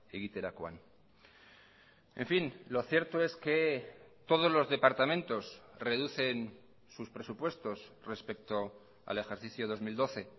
egiterakoan en fin lo cierto es que todos los departamentos reducen sus presupuestos respecto al ejercicio dos mil doce